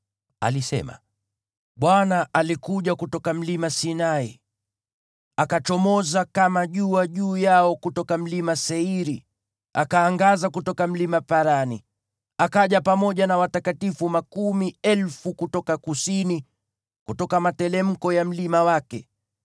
Alisema: “ Bwana alikuja kutoka Mlima Sinai, akachomoza kama jua juu yao kutoka Mlima Seiri, akaangaza kutoka Mlima Parani. Alikuja pamoja na watakatifu makumi elfu kutoka kusini, kutoka materemko ya mlima wake.